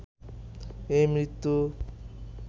এই মৃত্যু